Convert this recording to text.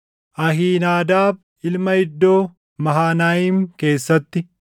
Ahiinaadaab ilma Iddoo, Mahanayiim keessatti;